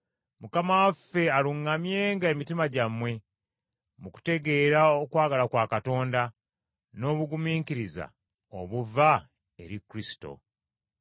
Mukama waffe aluŋŋamyenga emitima gyammwe mu kutegeera okwagala kwa Katonda, n’obugumiikiriza obuva eri Kristo.